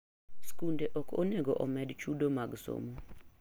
Skunde ok onego omed chudo mag somo.